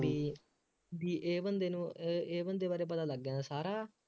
ਬਈ ਬਈ ਇਹ ਬੰਦੇ ਨੂੰ ਅਹ ਇਹ ਬੰਦੇ ਬਾਰੇ ਪਤਾ ਲੱਗ ਜਾਂਦਾ ਸਾਰਾ